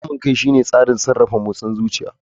Kamun kai shine tsarin sarrafa motsin zuciyar ku.